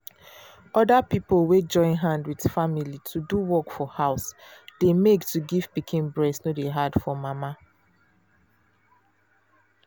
other pipo wey join hand with family to do work for house dey make to give pikin breast no dey hard for mana